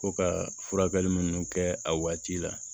Ko ka furakɛli minnu kɛ a waati la